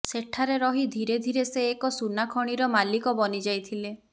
ସେଠାରେ ରହି ଧିରେ ଧିରେ ସେ ଏକ ସୁନା ଖଣିର ମାଲିକ ବନିଯାଇଥିଲେ